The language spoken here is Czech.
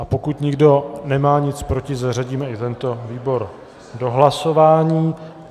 A pokud nikdo nemá nic proti, zařadíme i tento výbor do hlasování.